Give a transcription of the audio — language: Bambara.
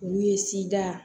Olu ye sida